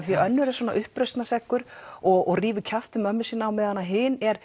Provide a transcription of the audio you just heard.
er svona uppreisnarseggur og rífur kjaft við mömmu sína á meðan hin er